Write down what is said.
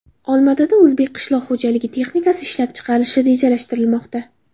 Olmaotada o‘zbek qishloq xo‘jalik texnikasi ishlab chiqarilishi rejalashtirilmoqda.